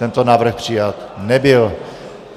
Tento návrh přijat nebyl.